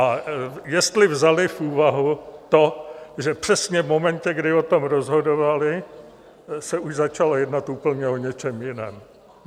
A jestli vzali v úvahu to, že přesně v momentě, kdy o tom rozhodovali, se už začalo jednat úplně o něčem jiném.